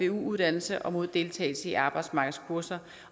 uddannelse og mod deltagelse i arbejdsmarkedskurser